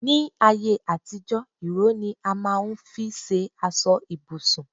Ní ayé àtijó, ìró ni a máà ń fi ṣe aṣọ ibùsùn